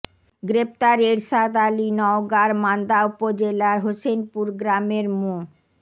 গ্রেপ্তার এরশাদ আলী নওগাঁর মান্দা উপজেলার হোসেনপুর গ্রামের মো